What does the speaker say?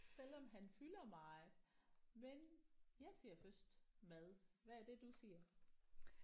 Selvom han fylder meget men jeg ser først mad. Hvad er det du ser?